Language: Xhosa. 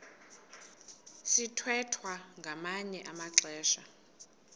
sithwethwa ngamanye amaxesha